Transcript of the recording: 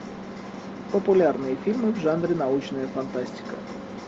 популярные фильмы в жанре научная фантастика